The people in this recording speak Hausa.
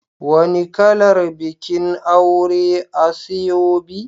Wani kalar bikin aure asoebi?